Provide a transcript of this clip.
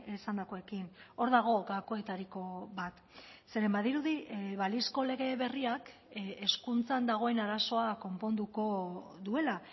esandakoekin hor dago gakoetariko bat zeren badirudi balizko lege berriak hezkuntzan dagoen arazoa konponduko duela